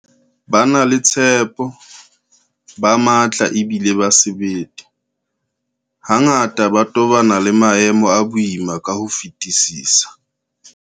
Ba na le tshepo, ba matla ebile ba sebete, hangata ba tobana le maemo a boima ka ho fetisisa.